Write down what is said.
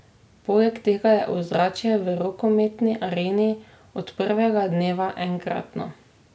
Poleg tega je ozračje v rokometni areni od prvega dneva enkratno.